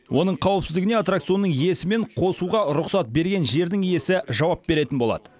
оның қауіпсіздігіне аттракционның иесі мен қосуға рұқсат берген жердің иесі жауап беретін болады